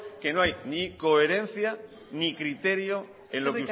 que no hay ni coherencia ni criterio en lo